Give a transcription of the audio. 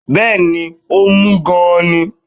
Bẹẹni, ó mú gan-an ni